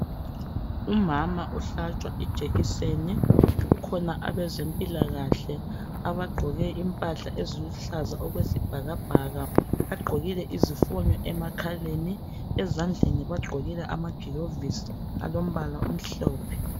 Umama uhlatshwa ijekiseni, kukhona abezempilakahle abagqoke Impahla eziluhlaza okwesibhakabhaka bagqokile izifonyo emakhaleni. ezandleni bagqokile amagilovisi alombala omhlophe.